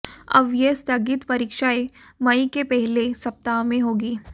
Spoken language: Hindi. अब यह स्थगित परीक्षाएं मई के पहले सप्ताह में होगी